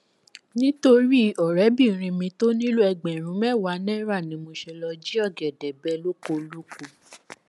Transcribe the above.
nítorí ọrẹbìnrin mi tó nílò ẹgbẹrún mẹwàá náírà ni mo ṣe lọọ jí ọgẹdẹ bẹ lóko olóko